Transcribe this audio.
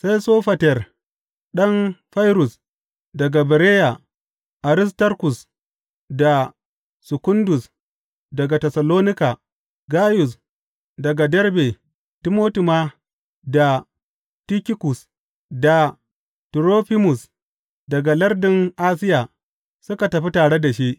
Sai Sofater ɗan Fairrus daga Bereya, Aristarkus da Sekundus daga Tessalonika, Gayus daga Derbe, Timoti ma, da Tikikus da Turofimus daga lardin Asiya suka tafi tare da shi.